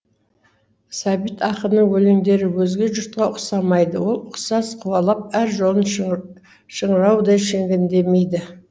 сәбит ақынның өлеңдері өзге жұртқа ұқсамайды ол ұқсас қуалап әр жолын шыңыраудай шегендемейді